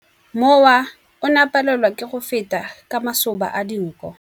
Mowa o ne o palelwa ke go feta ka masoba a dinko.